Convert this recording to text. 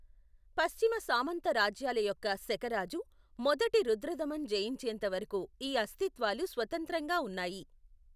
పశ్చిమ సామంత రాజ్యాల యొక్క శక రాజు మొదటి రుద్రదమన్ జయించేంత వరకు ఈ అస్తిత్వాలు స్వతంత్రంగా ఉన్నాయి.